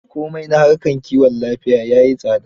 Komai na harkar kiwon lafiya ya yi tsada.